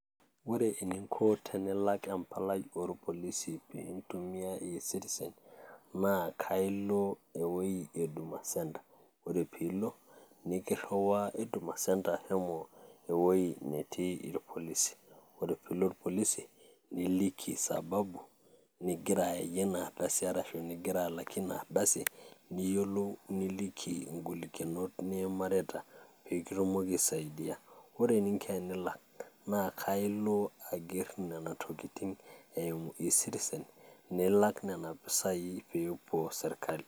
Ore eninko tenilak empalai orpolisi piintumia eCitizen, naa kaa ilo ewoi e huduma center, ore piilo naa kiriwaa huduma center shomo ewoi netii irpolisi. Ore piilo irpolisi niliiki sababu nigira ayayie ina ardasi arashu ning'ira alakie ina ardasi, niyolou niliki ng'olikinot niimarita pee kitumoki ai saidia. Ore eninko enilak naa kailo aiger nena tokitin eimu eCitizen nilak nena pisai pee epuo sirkali.